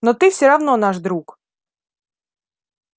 но ты все равно наш друг